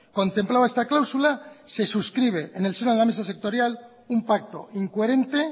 contemplaba esta cláusula se suscribe en el seno de la mesa sectorial un pacto incoherente